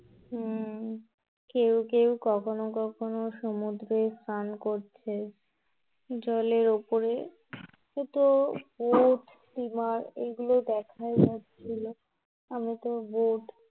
হুম, কেউ কেউ কখনো কখনো সমুদ্রে স্নান করছে, জলের উপরে Boat steamer এগুলো দেখাই যাচ্ছিলো. আমরা তো boat